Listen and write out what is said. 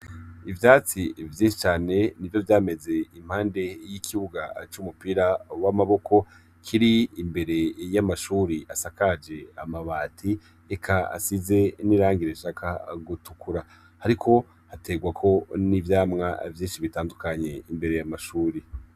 Ivyatsi vyinshi cane n'ivyo vyameze impande y'ikibuga c'umupira w'amaboko Kiri imbere y'amashuri asakaje amabati eka asize n'irangi rishaka gutukura, hariko hategwako n'ivyamwa vyinshi bitandukanye imbere y'amashure.